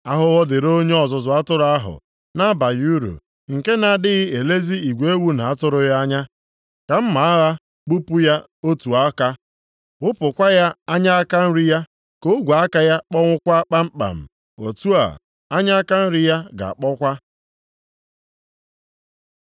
“Ahụhụ dịrị onye ọzụzụ atụrụ ahụ na-abaghị uru, nke na-adịghị elezi igwe ewu na atụrụ ya anya. Ka mma agha gbupụ ya otu aka, ghụpụkwa ya anya aka nri ya. Ka ogwe aka ya kpọnwụọkwa kpamkpam. Otu a, anya aka nri ya ga-akpọkwa.”